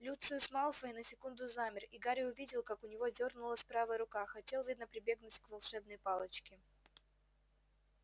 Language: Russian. люциус малфой на секунду замер и гарри увидел как у него дёрнулась правая рука хотел видно прибегнуть к волшебной палочке